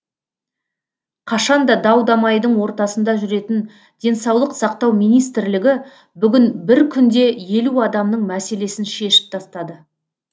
қашан да дау дамайдың ортасында жүретін денсаулық сақтау министрлігі бүгін бір күнде елу адамның мәселесін шешіп тастады